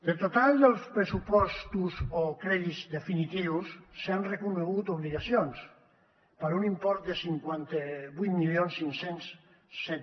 del total dels pressupostos o crèdits definitius s’han reconegut obligacions per un import de cinquanta vuit mil cinc cents i set